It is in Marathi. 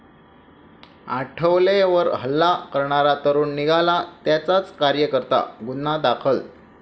आठवलेंवर हल्ला करणारा तरूण निघाला त्यांचाच कार्यकर्ता, गुन्हा दाखल